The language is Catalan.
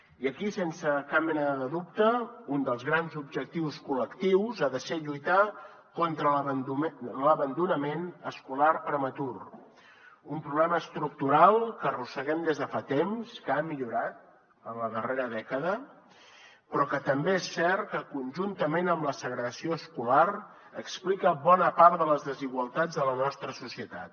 i aquí sense cap mena de dubte un dels grans objectius col·lectius ha de ser lluitar contra l’abandonament escolar prematur un problema estructural que arrosseguem des de fa temps que ha millorat en la darrera dècada però que també és cert que conjuntament amb la segregació escolar explica bona part de les desigualtats de la nostra societat